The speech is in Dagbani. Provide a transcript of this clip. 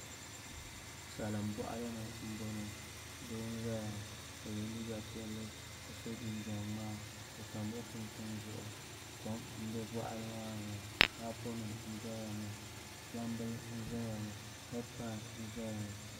Salin boɣali ni n boŋo doo n ʒɛya ŋo o yɛ liiga piɛlli ka so jinjɛm ŋmaa o tamla kunkun zuɣu kom n bɛ boɣali maa ni ŋo paapu nim n doya ŋo gbambili n ʒɛya ŋo heed pai n ʒɛya ŋo